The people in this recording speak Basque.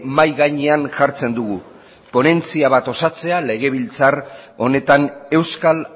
mahai gainean jartzen dugu ponentzia bat osatzea legebiltzar honetan euskal